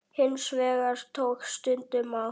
Hins vegar tók stundum á.